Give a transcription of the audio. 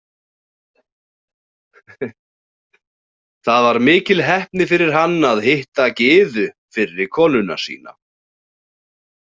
Það var mikil heppni fyrir hann að hitta Gyðu fyrri konuna sína.